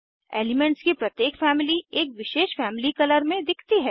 elements की प्रत्येक family एक विशेष फैमली कलर में दिखती है